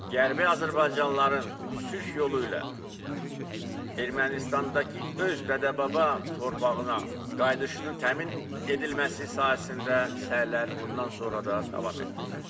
Qərbi azərbaycanlıların sülh yolu ilə Ermənistandakı öz dədə-baba torpağına qayıdışının təmin edilməsi sahəsində səylər bundan sonra da davam etdiriləcək.